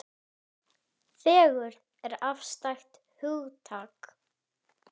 Og við stein er stopp.